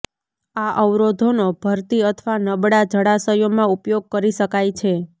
આ અવરોધોનો ભરતી અથવા નબળા જળાશયોમાં ઉપયોગ કરી શકાય છે